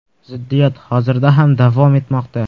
Ziddiyat hozirda ham davom etmoqda.